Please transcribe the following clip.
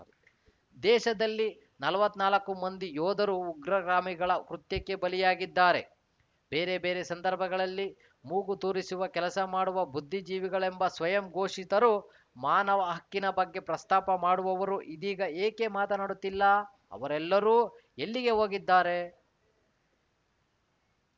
ದೇಶದಲ್ಲಿ ನಲವತ್ನಾಲ್ಕು ಮಂದಿ ಯೋಧರು ಉಗ್ರಗಾಮಿಗಳ ಕೃತ್ಯಕ್ಕೆ ಬಲಿಯಾಗಿದ್ದಾರೆ ಬೇರೆ ಬೇರೆ ಸಂದರ್ಭಗಳಲ್ಲಿ ಮೂಗುತೂರಿಸುವ ಕೆಲಸ ಮಾಡುವ ಬುದ್ಧಿಜೀವಿಗಳೆಂಬ ಸ್ವಯಂ ಘೋಷಿತರು ಮಾನವ ಹಕ್ಕಿನ ಬಗ್ಗೆ ಪ್ರಸ್ತಾಪ ಮಾಡುವವರು ಇದೀಗ ಏಕೆ ಮಾತನಾಡುತ್ತಿಲ್ಲಾ ಅವರೆಲ್ಲರೂ ಎಲ್ಲಿಗೆ ಹೋಗಿದ್ದಾರೆ